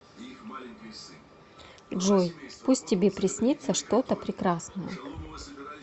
джой пусть тебе приснится что то прекрасное